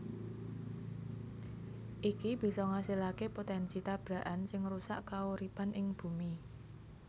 Iki bisa ngasilaké potènsi tabrakan sing ngrusak kauripan ing Bumi